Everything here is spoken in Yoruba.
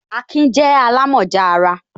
Akin je alamoja ara